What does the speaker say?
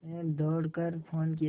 मैंने दौड़ कर फ़ोन किया